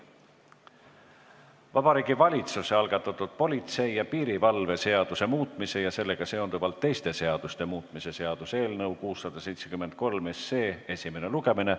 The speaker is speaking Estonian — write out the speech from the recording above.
Vabariigi Valitsuse algatatud politsei ja piirivalve seaduse muutmise ja sellega seonduvalt teiste seaduste muutmise seaduse eelnõu 673 esimene lugemine.